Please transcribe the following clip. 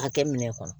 Hakɛ min kɔnɔ